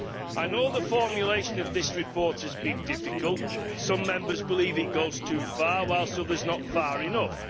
I know the formulation of this report has been difficult some Members believe it goes too far, whilst others not far enough.